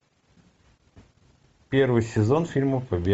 первый сезон фильма побег